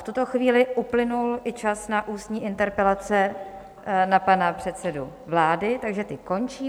V tuto chvíli uplynul i čas na ústní interpelace na pana předsedu vlády, takže ty končí.